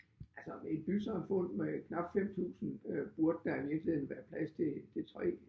Altså i et bysamfund med knap 5000 øh burde der i virkeligheden være plads til til 3